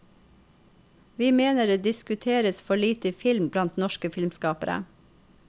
Vi mener det diskuteres for lite film blant norske filmskapere.